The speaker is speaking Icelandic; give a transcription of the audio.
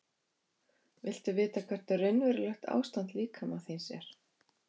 Viltu vita hvert raunverulegt ástand líkama þíns er?